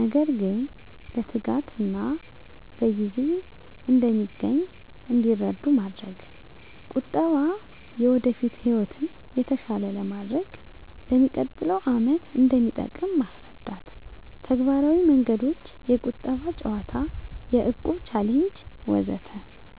ነገር ግን በትጋትና በጊዜ እንደሚገኝ እንዲረዱ ማድረግ። -ቁጠባ የወደፊት ህይወትን የተሻለ ለማድረግ፣ ለሚቀጥለው ዓመት እንደሚጠቅም ማስረዳት። -ተግባራዊ መንገዶች -የቁጠባ ጨዋታ -የእቁብ ቻሌንጅ ወዘተ